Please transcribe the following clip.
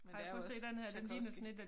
Men det er jo også Tjajkovskij